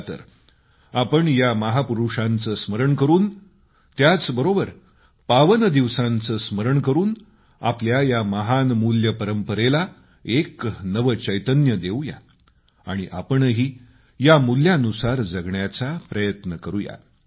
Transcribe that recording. चला तर आपण या महापुरूषांचे स्मरण करून त्याचबरोबर पावन दिवसांचं स्मरण करून आपल्या या महान मूल्य परंपरेला एक नवं चैतन्य देऊ या आणि आपणही या मूल्यानुसार जगण्याचा प्रयत्न करूया